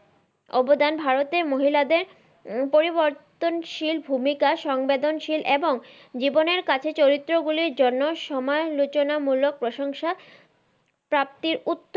অবদান ভারতের মহিলাদের পরিবর্তনশীল ভুমিকা সংবেদনশীল এবং জীবনের কাছে চরিত্র গুলির জন্য সমালোচনা মূলক প্রশংসা প্রাপ্তির উত্তর